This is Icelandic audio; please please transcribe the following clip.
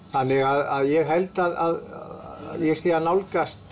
þannig að ég held að ég sé að nálgast